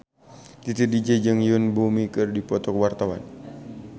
Titi DJ jeung Yoon Bomi keur dipoto ku wartawan